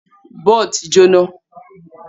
Buld ti jóná